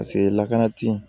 Paseke lakanati